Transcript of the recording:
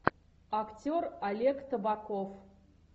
актер олег табаков